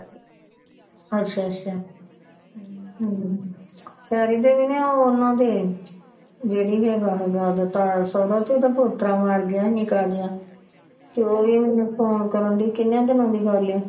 ਅੱਛਾ ਅੱਛਾ ਸਾਰੀ ਦੀਆ ਉਹਨਾਂ ਦੇ ਜਿਹੜੀ ਦੇ ਆਹੋ ਜਿਹਾ ਤਾਯਾ ਸੁਹਰਾ ਤੇ ਉਹਦਾ ਪੁੱਤਰਾਂ ਮਾਰ ਗਿਆ ਨਿੱਕਾ ਜਿਹਾ ਚੋਰ ਉਹਨੂੰ ਪਾਉਣ ਕਰਨ ਲਈ ਕਿਨਾ ਦਿਨਾਂ ਦੀ ਗੱਲ ਏ